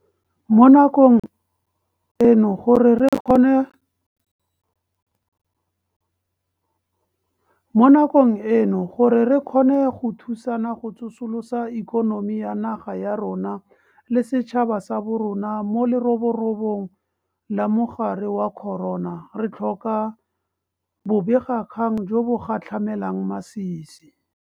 Mo nakong eno gore re kgone go thusana go tsosolosa ikonomi ya naga ya rona le setšhaba sa borona mo leroborobong la mogare wa corona, re tlhoka bobegakgang jo bo gatlhamelang masisi.